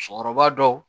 Cɛkɔrɔba dɔw